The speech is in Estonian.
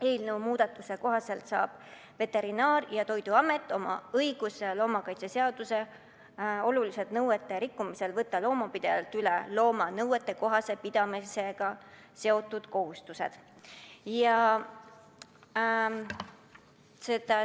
Eelnõu muudatuse kohaselt saab Veterinaar- ja Toiduamet õiguse võtta loomakaitseseaduse oluliste nõuete rikkumise korral loomapidajalt üle looma nõuetekohase pidamisega seotud kohustused.